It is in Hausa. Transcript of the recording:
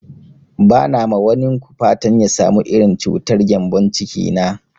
Ba na ma wanin ku fatan ya samu irin cutar gembon ciki na